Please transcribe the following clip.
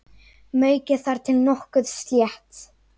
Maukið þar til nokkuð slétt.